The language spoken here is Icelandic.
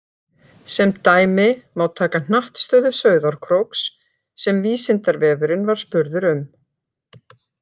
Sem dæmi má taka hnattstöðu Sauðárkróks sem Vísindavefurinn var spurður um.